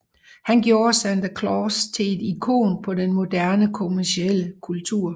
Han gjorde Santa Claus til et ikon på en moderne kommerciel kultur